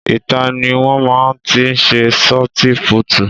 Ìta ni wọn máa tí ń sé sọti púútu